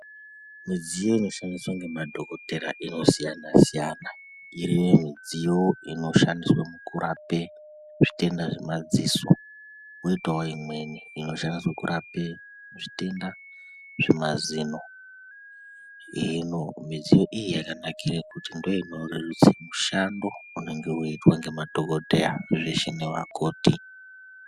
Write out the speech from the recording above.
Midziyo ino shandiswa ngemadhokotera, inosiyana-siyana, iriyo midziyo ino shandiswe mukurapa zvitenda zvemadziso, kwoitawo imweni ino shandiswe kurapa zvitenda zvemazino, hino midziyo iyi yakanakire kuti ndoinoreruse mushando unenge weiitwa ngema dhokodheya zveshe nevakoti.